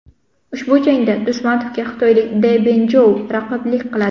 Ushbu jangda Do‘stmatovga xitoylik De Bin Jou raqiblik qiladi.